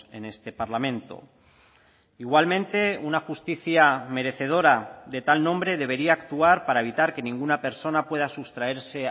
en este parlamento igualmente una justicia merecedora de tal nombre debería actuar para evitar que ninguna persona pueda sustraerse